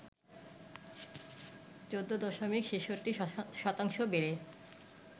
১৪ দশমিক ৬৬ শতাংশ বেড়ে